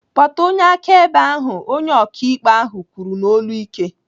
"Kpọta onye akaebe ahụ!" Onye ọkaikpe ahụ kwuru n'olu ike.